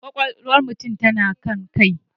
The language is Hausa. Kwakwalwar mutum tana kan kai.